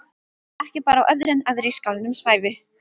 Ekki bar á öðru en aðrir í skálanum svæfu.